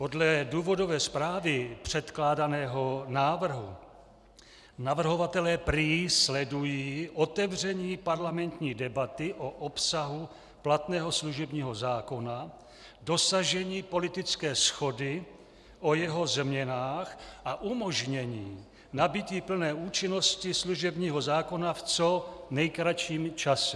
Podle důvodové zprávy předkládaného návrhu navrhovatelé prý sledují otevření parlamentní debaty o obsahu platného služebního zákona, dosažení politické shody o jeho změnách a umožnění nabytí plné účinnosti služebního zákona v co nejkratším čase.